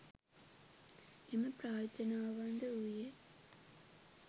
එම ප්‍රාර්ථනාවන්ද වූයේ